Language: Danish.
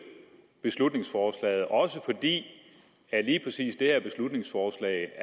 beslutningsforslaget også fordi lige præcis det her beslutningsforslag